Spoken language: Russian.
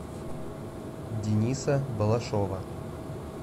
дениса балашова